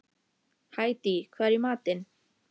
Hædý, hvað er í matinn?